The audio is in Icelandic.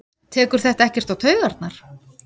Tekur þetta ekkert á taugarnar?